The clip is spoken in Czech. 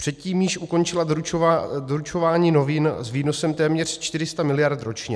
Předtím již ukončila doručování novin s výnosem téměř 400 mld. ročně.